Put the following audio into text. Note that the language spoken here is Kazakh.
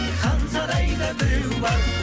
хан сарайда біреу бар